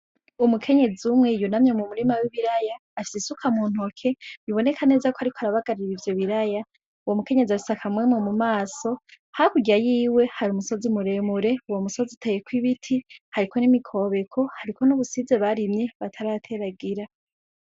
Umukenyezi umwe yunamye mu murima w'ibiraya afise isuka mu ntoke biboneka neza ko ariko arabagarira ivyo biraya uwo mukenyezi afise akamwemwe mu maso hakurya yiwe hari umusozi muremure uwo musozi uteyeko ibiti hariko n'imikobeko hariko n'ubusize barimye batarateragira.